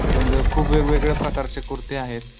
त्याच्या मध्ये खुप वेगवेगळ्या प्रकारचे कुरते आहेत.